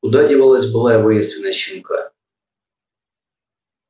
куда девалась былая воинственность щенка